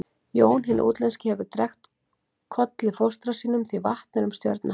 Jón hinn útlenski hefur drekkt Kolli fóstra mínum því vatn er um stjörnu hans.